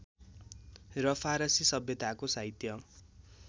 र फारसी सभ्यताको साहित्य